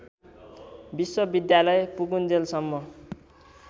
विश्वविद्यालय पुगुन्जेलसम्म